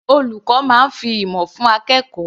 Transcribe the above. Olùkọ́ máa fi ìmọ̀ fún akẹ́kọ̀ọ́.